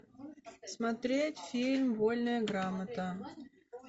смотреть фильм вольная грамота